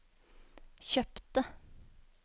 kjøpte